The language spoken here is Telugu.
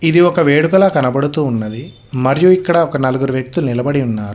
ఇది ఒక వేడుకల కనబడుతూ ఉన్నది మరియు ఇక్కడ ఒక నలుగురు వ్యక్తులు నిలబడి ఉన్నారు.